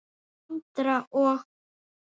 Andra og